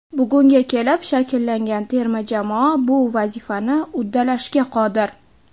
Bugunga kelib shakllangan terma jamoa bu vazifani uddalashga qodir.